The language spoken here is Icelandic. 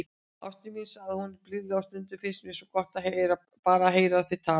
Ástin mín, sagði hún blíðlega,- stundum finnst mér svo gott, bara að heyra þig tala.